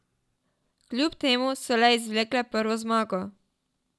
Kljub temu so le izvlekle prvo zmago.